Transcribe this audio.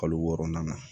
Kalo wɔɔrɔnan na